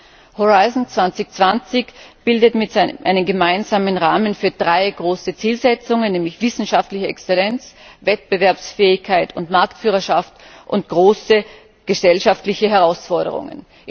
Horizont 2020 bildet einen gemeinsamen Rahmen für drei große Zielsetzungen, nämlich wissenschaftliche Exzellenz, Wettbewerbsfähigkeit und Marktführerschaft sowie große gesellschaftliche Herausforderungen.